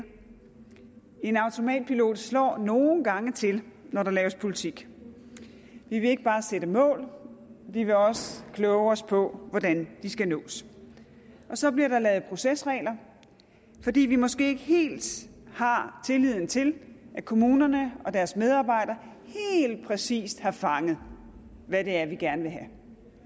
en automatpilot slår nogle gange til når der laves politik vi vil ikke bare sætte mål vi vil også kloge os på hvordan de skal nås så bliver der lavet procesregler fordi vi måske ikke helt har tilliden til at kommunerne og deres medarbejdere helt præcist har fanget hvad det er vi gerne vil have